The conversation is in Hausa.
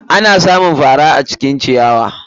Ana samun faran acikin ciyawa.